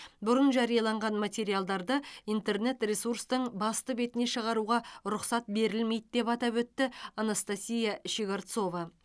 бұрын жарияланған материалдарды интернет ресурстың басты бетіне шығаруға рұқсат берілмейді деп атап өтті анастасия щегорцова